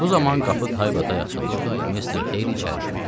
Bu zaman qapı taybatay açıldı, Mr. Heyli içəri girdi.